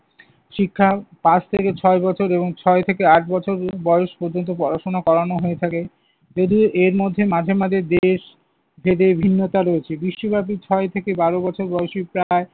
শিক্ষা পাঁচ থেকে ছয় বছর এবং ছয় থেকে আট বছর পর্যন্ত বয়স পর্যন্ত পড়াশোনা করানো হয়ে থাকে। যদিও এর মধ্যে মাঝে মাঝে দেশ ভেদে ভিন্নতা রয়েছে। বিশ্বব্যাপী ছয় থেকে বারো বছর বয়সী প্রায়